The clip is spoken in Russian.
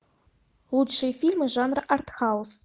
лучшие фильмы жанра арт хаус